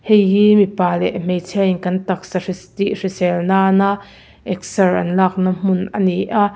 hei hi mipa leh hmeichhia in kan taksa hriss tih hrisel nan a excer an lakna hmun ani a--